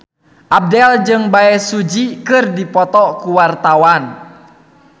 Abdel jeung Bae Su Ji keur dipoto ku wartawan